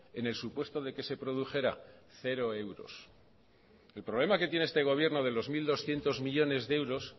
en el supuesto de que se produjera cero euros el problema que tiene este gobierno de dos mil doscientos millónes de euros